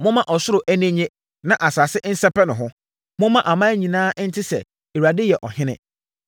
Momma ɔsoro ani nnye na asase nsɛpɛ ne ho! Momma aman nyinaa nte sɛ, “ Awurade yɛ ɔhene!”